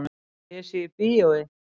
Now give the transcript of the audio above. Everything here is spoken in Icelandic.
Að ég sé í bíói.